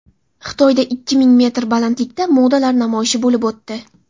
Xitoyda ikki ming metr balandlikda modalar namoyishi bo‘lib o‘tdi.